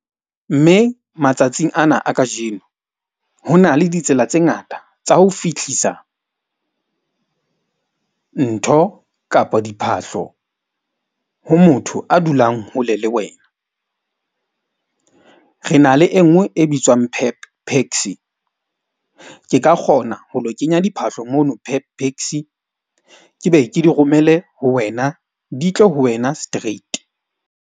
Mme matsatsing ana a kajeno ho na le ditsela tse ngata tsa ho fihlisa ntho kapa diphahlo. Ho motho a dulang hole le wena, re na le e nngwe e bitswang Pep PAXI. Ke ka kgona ho lo kenya diphahlo mono Pep PAXI ke be ke di romele ho wena, di tle ho wena straight.